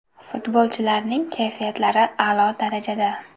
Futbolchilarning kayfiyatlari a’lo darajada.